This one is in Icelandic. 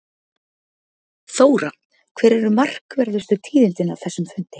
Þóra, hver eru markverðustu tíðindin af þessum fundi?